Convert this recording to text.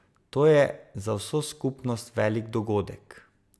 To je za vso skupnost velik dogodek.